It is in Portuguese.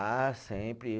Ah, sempre.